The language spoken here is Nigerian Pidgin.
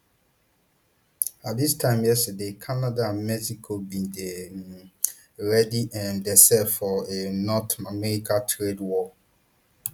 at dis time yesterday canada and mexico bin dey um ready um themselves for a north american trade war